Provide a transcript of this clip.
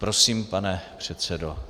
Prosím, pane předsedo.